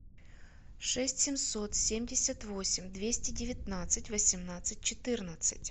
шесть семьсот семьдесят восемь двести девятнадцать восемнадцать четырнадцать